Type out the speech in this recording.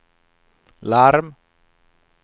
larm